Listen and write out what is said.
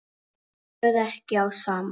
Stóð ekki á sama.